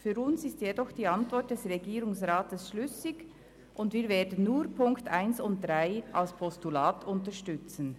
Für uns ist jedoch die Antwort des Regierungsrats schlüssig, und wir werden nur die Ziffern 1 und 3 als Postulat unterstützen.